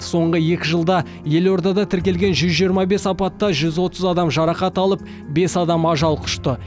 соңғы екі жылда елордада тіркелген жүз жиырма бес апатта жүз отыз адам жарақат алып бес адам ажал құшты